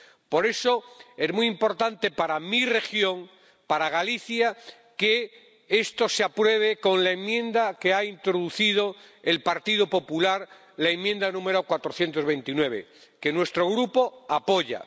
Por eso, es muy importante para mi región, para Galicia, que esto se apruebe con la enmienda que ha introducido el Partido Popular, la enmienda número 429, que nuestro Grupo apoya.